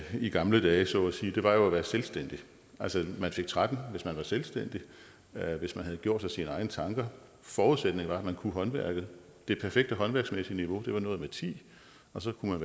i gamle dage så at sige var jo at være selvstændig altså man fik tretten hvis man var selvstændig hvis man havde gjort sig sine egne tanker forudsætningen var at man kunne håndværket det perfekte håndværksmæssige niveau var noget med ti og så kunne